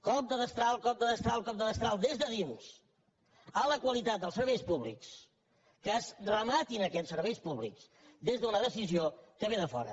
cop de destral cop de destral cop de destral des de dins a la qualitat dels serveis públics que es rema tin aquest serveis públics des d’una decisió que ve de fora